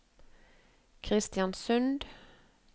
Kristiansund